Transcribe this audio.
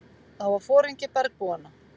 Það var foringi bergbúanna.